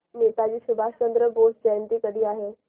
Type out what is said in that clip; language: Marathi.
नेताजी सुभाषचंद्र बोस जयंती कधी आहे